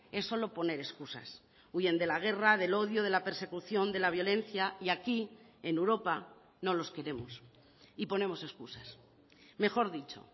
es solo poner excusas huyen de la guerra del odio de la persecución de la violencia y aquí en europa no los queremos y ponemos excusas mejor dicho